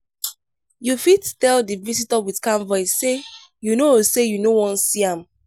you fit tell di visitor with calm voice sey you no sey you no wan see am